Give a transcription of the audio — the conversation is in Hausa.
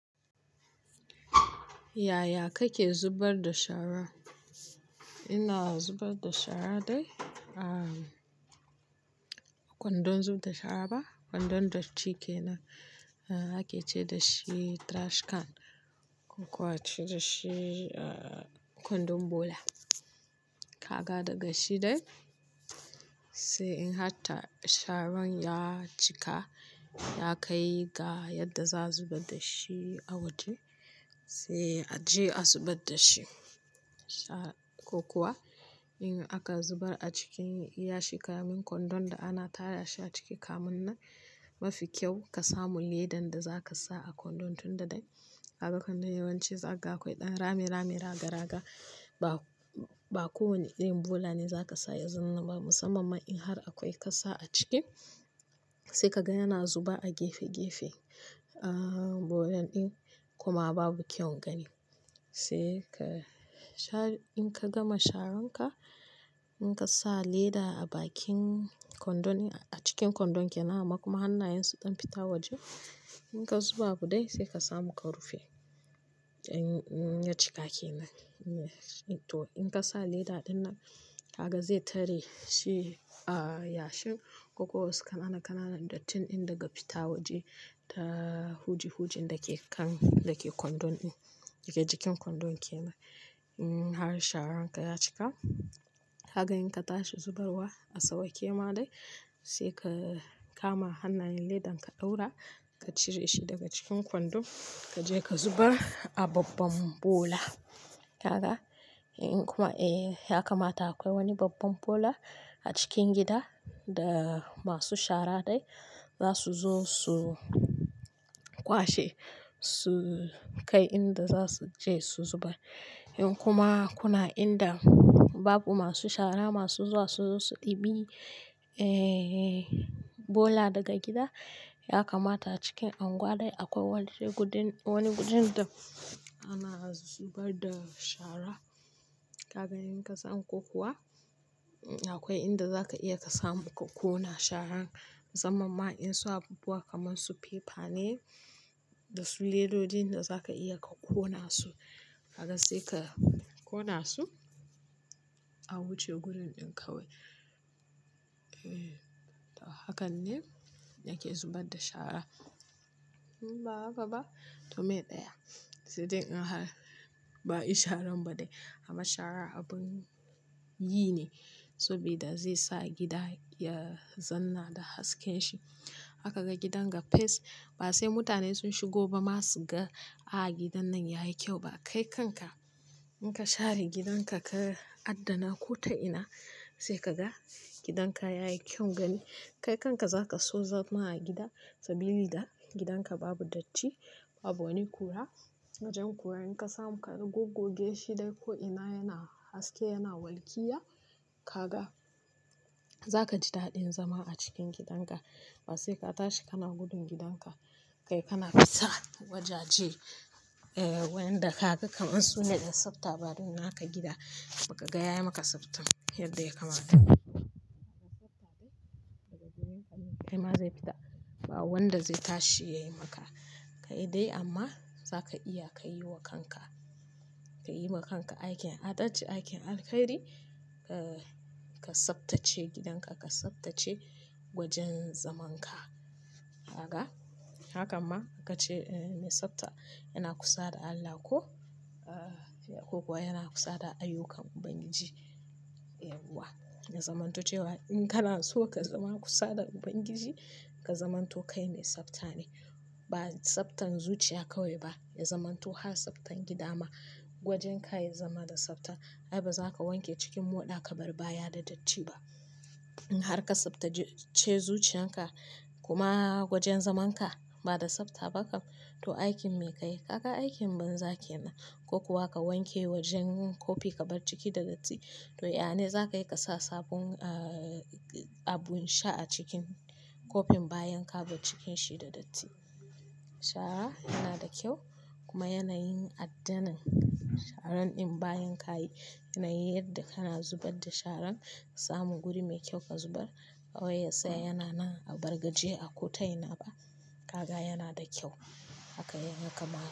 Yaya kake zubar da shara? Ina zubar da shara dai. Ah, kwandon zub da shara ba, kwandon datti kenan. Ake ce dashi trash can ko kuwa ake ce dashi kwandon bula. Ka ga daga shi dai, sai in har ta sharan ya cika, ya kai ga yadda za zubar da shi a waje sai a je a zubar da shi. Sha-- ko kuwa in aka zubar a cikin yashi, ka min kwandon da ana tara sha ciki, kamun nan mafi kyau ka samu ledan da za ka sa a kwandon tun da dai. Haka kwandon yawanci zai ga akwai ɗan rami-rami, raga-raga. Ba, ba kowane irin bula ne za ka sa ya zanna ba. Musamman in har akwai kasa a ciki, sai ka ga yana zuba a gefe-gefe. Ah, bulon ɗin kuma babu kyau gani. Sai ka sha-- in ka gama sharan ka, in ka sa leda a bakin kwandon a cikin kwandon ke nan kuma hannayen su ɗan fita waje. In ka zuba bu dai sai ka samu ka rufe. In ya cika kenan. To in ka sa leda ɗin nan, haka zai tare shi a yashin ko wasu kanana-kanana dattin ɗin daga fita waje da huji-hujin da ke kan, da ke kwandon ɗin. Jika-jikin kwandon kenan. In har sharan ka ya cika, haka in ka tashi zubarwa a sauƙe ma dai sai ka kama hannayen ledan ka ɗaura, ka cire shi daga cikin kwandon, ka je ka zuba a babban bola. Haka in kuma, eh, ya kamata akwai wani babban bola a cikin gida da masu shara dai za su zo su kwashe, su kai inda za su je su zuba. In kuma kuna inda babu masu shara masu zuwa su zo su ɗibi, eh, bula daga gida, ya kamata cikin angwa dai akwai waje gurin, wani gurin da ana zubar da shara. Haka in ka samu ko kuwa akwai inda za ka iya ka samu ka ƙona sharan. Musamman in su abubuwa kamar su fefa ne da su ledoji da za ka iya ka ƙona su. Haka sai ka ƙona su a wuce gurin ɗin kawai. Eh, hakan ne ake zubar da shara. Ba haka ba? To me ɗaya, sai dai in har ba yi sharan ba dai. Amma shara abin yi ne saboda zai sa gida ya zanna da hasken shi. Haka ga gidan ga fes. Ba sai mutane sun shigo ba ma su ga, "A gidan nan yayi kyau ba." Kai kanka in ka share gidan ka ka addana ko ta ina sai ka ga gidan ka yayi kyau gani. Kai kanka za ka so zama a gida saboda gidan ka babu datti, babu wani kura. Wajen kurayen ka samu ka goggoge shi dai ko ina yana haske, yana walƙiya. Ka ga, za ka ji daɗin zama a cikin gidan ka. Ba sai ka tashi ka na gudun gidan ka. Kai kana kisa wajaje. Eh, wayanda ka ga kamar su ne ɗan tsafta. Baduna haka gida kuma ka ga yayi maka tsafta yadda ya kamata. Haka tsafta dai daga jirgin ƙananan kai ma zai fita. Ba wanda zai tashi ya yi maka. Kai dai amma za ka iya ka yi wa kanka. Ka yi wa kanka aikin adace, aikin alkhairi. Eh, ka tsabtace gidan ka, ka tsabtace wajen zaman ka. Haka. Haka ma ka ce me tsafta yana kusa da Allah ko, ah, ko kuwa yana kusa da ayyukan Ubangiji. Eh, wa. Na zamanto cewa in kana so ka zama kusa da Ubangiji, ka zamanto kai me tsafta ne. Ba tsaftan zuciya kawai ba. Na zamanto har tsaftan gida ma gwajen ka ya zama da tsafta. Ai ba za ka wanke cikin moɗa ka bar baya da datti ba. In har ka tsaftace zuciyan ka kuma wajen zaman ka ba da tsafta ba kam to aikin me ka yi? Haka aikin banza ke nan. Ko kuwa ka wanke wajen kofi ka bar ciki da datti. To ya ne za ka yi ka sa sabon, ah, abun sha a cikin kofin bayan ka bar cikin shi da datti. Shara yana da kyau kuma yana yin addanin. Sharan in bayan ka yi, yana yi yadda kana zubar da sharan ka samu guri me kyau ka zubar. Awaya sai yana nan a bargaje a kotai na ba. Haka yana da kyau. Haka ya kamata.